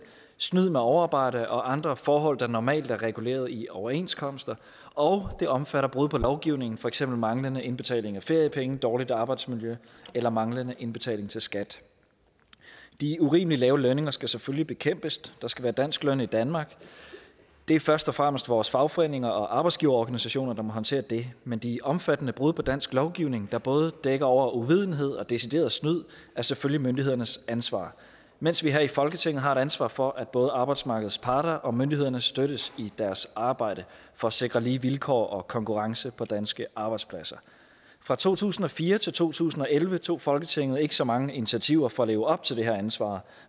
snyd med overarbejde og andre forhold der normalt er reguleret i overenskomster og det omfatter også brud på lovgivningen for eksempel manglende indbetaling af feriepenge dårligt arbejdsmiljø eller manglende indbetaling til skat de urimelig lave lønninger skal selvfølgelig bekæmpes der skal være dansk løn i danmark det er først og fremmest vores fagforeninger og arbejdsgiverorganisationer der må håndtere det men de omfattende brud på dansk lovgivning der både dækker over uvidenhed og decideret snyd er selvfølgelig myndighedernes ansvar mens vi her i folketinget har et ansvar for at både arbejdsmarkedets parter og myndighederne støttes i deres arbejde for at sikre lige vilkår og konkurrence for danske arbejdspladser fra to tusind og fire til to tusind og elleve tog folketinget ikke så mange initiativer for at leve op til det her ansvar